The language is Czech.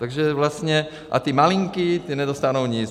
Takže vlastně - a ty malinký, ty nedostanou nic.